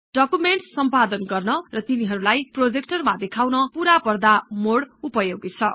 documents सम्पादन गर्न र तिनीहरुलाई प्रोजेक्टर मा देखाउन पूरा पर्दा मोड उपयोगी छ